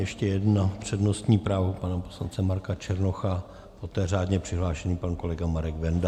Ještě jedno přednostní právo pana poslance Marka Černocha, poté řádně přihlášený pan kolega Marek Benda.